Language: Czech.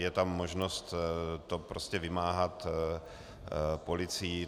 Je tam možnost to prostě vymáhat policií.